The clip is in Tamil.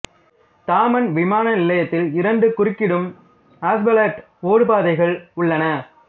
தாமன் விமான நிலையத்தில் இரண்டு குறுக்கிடும் அஸ்பால்ட் ஓடுபாதைகள் உள்ளன